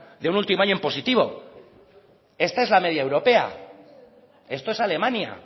de un último año en positivo esta es la media europea esto es alemania